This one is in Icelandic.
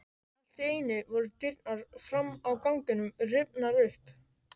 Allt í einu voru dyrnar fram á ganginn rifnar upp.